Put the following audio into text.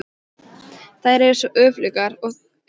Þær eru svo öflugar að þær sprengja fjöll í sundur.